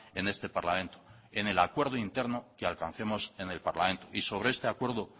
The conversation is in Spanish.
en este parlamento en el acuerdo interno que alcancemos en el parlamento y sobre este acuerdo